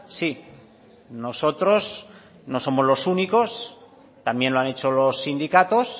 sí nosotros no somos los únicos también lo han hecho los sindicatos